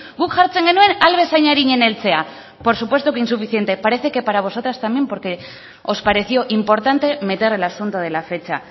guk jartzen genuen ahal bezain arinen heltzea por supuesto que insuficiente parece que para vosotras también porque os pareció importante meter el asunto de la fecha